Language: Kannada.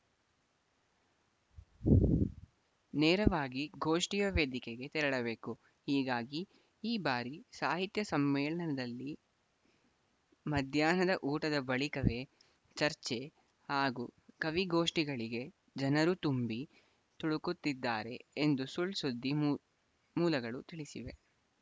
ನೇರವಾಗಿ ಗೋಷ್ಠಿಯ ವೇದಿಕೆಗೇ ತೆರಳಬೇಕು ಹೀಗಾಗಿ ಈ ಬಾರಿ ಸಾಹಿತ್ಯ ಸಮ್ಮೇಳನದಲ್ಲಿ ಮಧ್ಯಾಹ್ನದ ಊಟದ ಬಳಿಕವೇ ಚರ್ಚೆ ಹಾಗೂ ಕವಿ ಗೋಷ್ಠಿಗಳಿಗೆ ಜನರು ತುಂಬಿ ತುಳುಕುತ್ತಿದ್ದಾರೆ ಎಂದು ಸುಳ್‌ ಸುದ್ದಿ ಮೂಲ್ ಮೂಲಗಳು ತಿಳಿಸಿವೆ